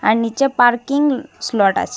আর নিচে parking slot আছে।